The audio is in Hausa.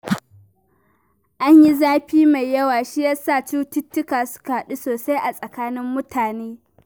An yi zafi mai yawa, shi ya sa cututtuka suka yaɗu sosai a tsakanin mutane